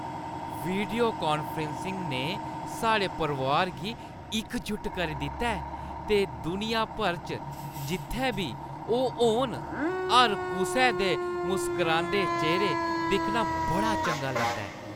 Video conferencing ने साढ़े परोआर गी इकजुट करी दित्ता ऐ ते दुनिया भर च जित्थै बी ओह् होन, हर कुसै दे मुसकरांदे चेह्‌रे दिक्खना बड़ा चंगा लगदा ऐ।